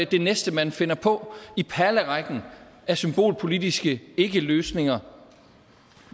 det næste man finder på i perlerækken af symbolpolitiske ikkeløsninger